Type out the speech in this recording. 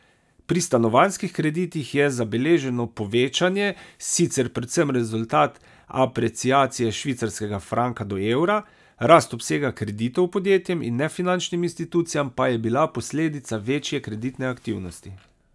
Pri stanovanjskih kreditih je zabeleženo povečanje sicer predvsem rezultat apreciacije švicarskega franka do evra, rast obsega kreditov podjetjem in nefinančnim institucijam pa je bila posledica večje kreditne aktivnosti.